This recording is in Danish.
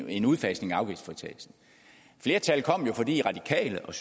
en udfasning af afgiftsfritagelsen flertallet kom jo fordi radikale og